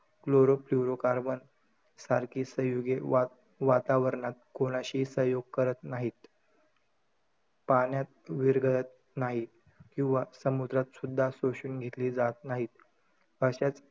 Choloroflurocarbon सारखी संयुगे वा~ वातावरणात कोणाशीही संयोग करत नाहीत. पाण्यात विरघळत नाहीत. किंवा समुद्रात सुध्दा शोषून घेतली जात नाहीत. अशाच,